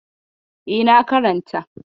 E, na karanta.